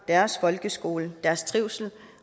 deres folkeskole i deres trivsel